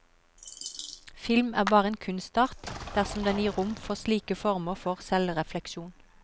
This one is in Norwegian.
Film er bare en kunstart dersom den gir rom for slike former for selvrefleksjon.